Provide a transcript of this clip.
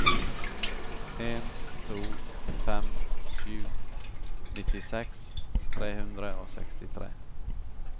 en to fem sju nittiseks tre hundre og sekstitre